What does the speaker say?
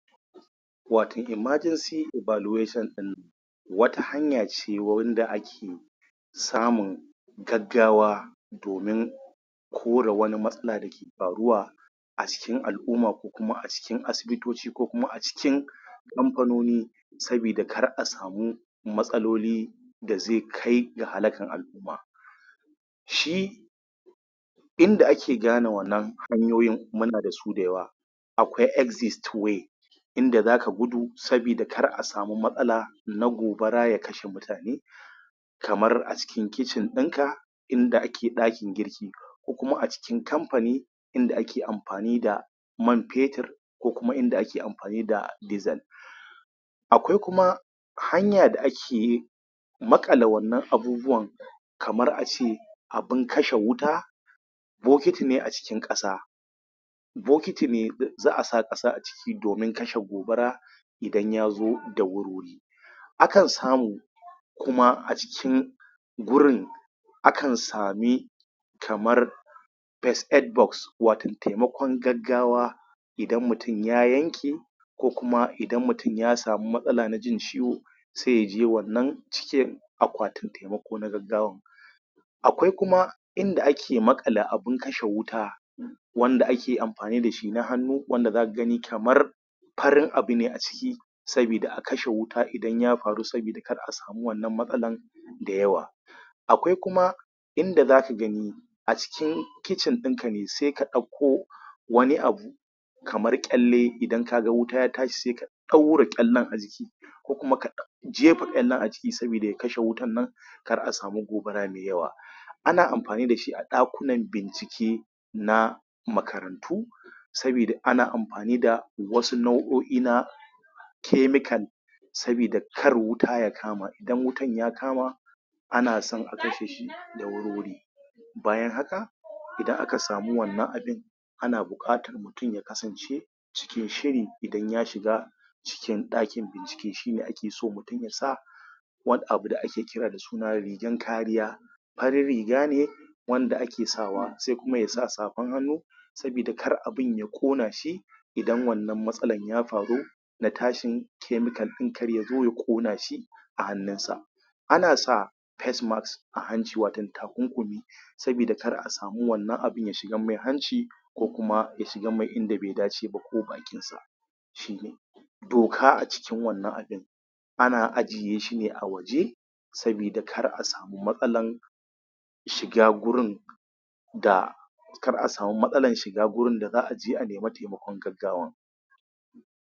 Waton Emergency evaluation ɗin nan wata hanya ce wanda ake samun gaggawa domin kore wani matsala da ke faruwa a cikin al'umma ko kuma a cikin asibitoci ko kuma a cikin kamfanoni saboda kar a sami matsaloli da zai kai ga halakan al'umma shi inda ake gane wannan hanyoyin muna da su da yawa akwai exit way in da zaka gudu saboda kar a samu matsala na gobara ya kashe mutane kamar a cikin kitchen ɗin ka in da ake ɗakin girki ko kuma acikin kamfani in da ake amfani da man fetur ko kuma inda ake amfani da diesel akwai kuma hanya da ake maƙale wannan abubuwan kamar ace abun kashe wuta bokiti ne a cikin ƙasa bokiti ne za a sa ƙasa a ciki domin kashe gobara idan ya zo da wuri-wuri Akan samu kuma a cikin gurin akan sami kamar First aid box wato taimakon gaggawa idan mutum ya yanke ko kuma idan mutum ya samu matsala na jin ciwo sai ya je wannan cikin akwatin na gaggawa akwai kuma in da ake maƙale abun kashe wuta wanda ake amfani da shi na hannu wanda za ka gani kamar farin abu ne a ciki sabida a akashe wuta idan ya faru sabida kar a sami wannan matsalan da yawa akwai kuma in da za ka gani a cikin kitchen ɗin ka ne sai ka ɗakko wani abu kamay ƙyalle idan ka ga wuta ta tashi sai ka ɗaure ƙyallen a jiki ko kuma ka ka jefa ƙyallen a ciki saboda ya kashe wutan da wuri kar a samu matsala. Ana amfani da shi a ɗakunan bincike na makarantu saboda ana amfani da wau nau'o'i na chemical saboda kar wuta ya kama idan wutan ya kama ana somn a kashe shi da wuri-wuri bayan haka idan aka samu wannan abun ana buƙatar mutum ya kasance cikin shiri idan ya shiga cikin ɗakin bincike shi ne ake so mutum ya sa wani abu da ake kira da suna rigan kariya farin riga ne wanda ake sawa sai kuma ya sa safan hannu sabida kar abin ya ƙona shi idan wannan matsalan ya faru ba tsahin chemical ɗin kar ya zo ya ƙona shi a hannunsa ana sa face mask a hanci wato takunkumi sabida kar a sami wannan abun ya shiganmai hanci ko kuma ya shin mai inda bai dace ba ko bakinshi doka a cikin wannan abun ana ajiye shi ne a waje saboda kar a samu matsalan shiga gurin da kar a samu matsalan shiga da za aje a nemi taimakon gaggawa.